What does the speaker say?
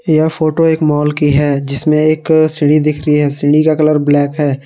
यह फोटो एक मॉल की है जिसमें एक सीढ़ी दिख रही है सीढी का कलर ब्लैक है।